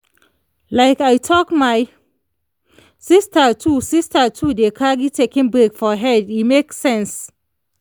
like i talk my sister too sister too dey carry taking break for head e make sense.